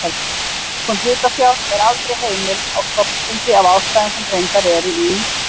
Lækkun hlutafjár er aldrei heimil á stofnfundi af ástæðum sem greindar eru í